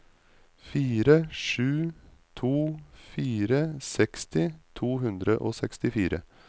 fire sju to fire seksti to hundre og sekstifire